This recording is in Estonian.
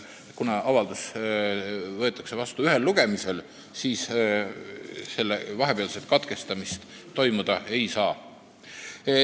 Kuivõrd avaldus võetakse vastu ühel lugemisel, siis selle vahepealset katkestamist toimuda ei saa.